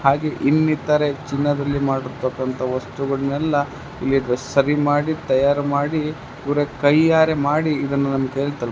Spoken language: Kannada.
ಹಾಗೆ ಇಲ್ಲಿ ಇತರೆ ಚಿನ್ನದಲ್ಲಿ ಮಾಡಿರ್ತಕಂತಹ ವಸ್ತುಗಳನ್ನೆಲ್ಲ ಇಲ್ಲಿ ಸರಿ ಮಾಡಿ ತಯಾರು ಮಾಡಿ ಇವರೇ ಕೈಯ್ಯಾರೆ ಮಾಡಿ ಇದನ್ನ ನಮ ಕೈಯಲ್ಲಿ ತಲು --